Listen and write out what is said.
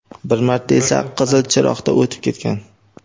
bir marta esa qizil chiroqda o‘tib ketgan.